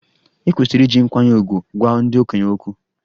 E kwesịrị iji nkwanye ùgwù gwa ndị okenye okwu.